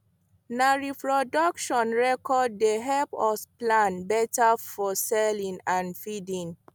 na reproduction record dey help us plan better for selling and feeding